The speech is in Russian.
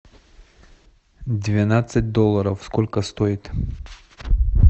двенадцать долларов сколько стоит